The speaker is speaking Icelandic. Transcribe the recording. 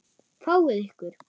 Fáið ykkur.